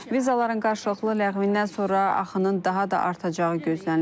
Vizaların qarşılıqlı ləğvindən sonra axının daha da artacağı gözlənilir.